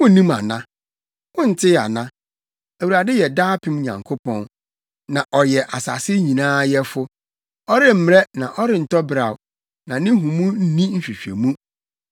Wunnim ana? Wontee ana? Awurade yɛ daapem Nyankopɔn, na ɔyɛ asase nyinaa yɛfo. Ɔremmrɛ na ɔrentɔ beraw, na ne nhumu nni nhwehwɛmu.